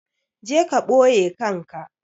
Je ka ɓoye kanka!